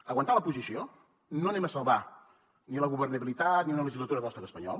aguantar la posició no anem a salvar ni la governabilitat ni una legislatura de l’estat espanyol